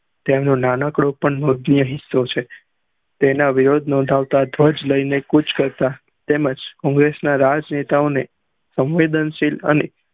ત્યાનું નાનકડું પણ હોતું નહી તેના વિરોધ ધ્વજ લઇ ને કુચ કરતા તેમજ કોંગ્રેસ ના જ નેતાઓને સંવેદન શીલ અને